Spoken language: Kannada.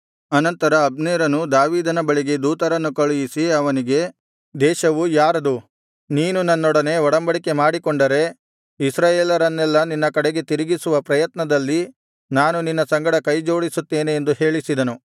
ಅನಂತರ ಅಬ್ನೇರನು ದಾವೀದನ ಬಳಿಗೆ ದೂತರನ್ನು ಕಳುಹಿಸಿ ಅವನಿಗೆ ದೇಶವು ಯಾರದು ನೀನು ನನ್ನೊಡನೆ ಒಡಂಬಡಿಕೆ ಮಾಡಿಕೊಂಡರೆ ಇಸ್ರಾಯೇಲರನ್ನೆಲ್ಲಾ ನಿನ್ನ ಕಡೆಗೆ ತಿರುಗಿಸುವ ಪ್ರಯತ್ನದಲ್ಲಿ ನಾನು ನಿನ್ನ ಸಂಗಡ ಕೈಜೋಡಿಸುತ್ತೇನೆ ಎಂದು ಹೇಳಿಸಿದನು